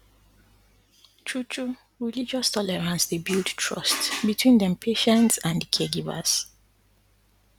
true true religious tolerance dey build trust between dem patients and di caregivers